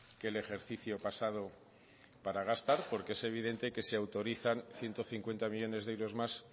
que el ejercicio pasado para gastar porque es evidentemente que se autorizan ciento cincuenta millónes de euros más